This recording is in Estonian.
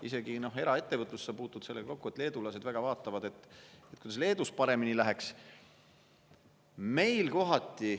Isegi eraettevõtluses puutud sa kokku sellega, et leedulased väga vaatavad, kuidas Leedul paremini läheks.